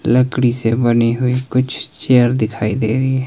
लकड़ी से बनी हुई कुछ चेयर दिखाई दे रही हैं।